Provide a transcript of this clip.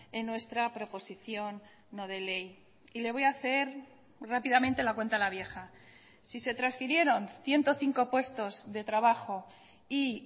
en nuestra proposición no de ley y le voy a hacer rápidamente la cuenta a la vieja si se transfirieron ciento cinco puestos de trabajo y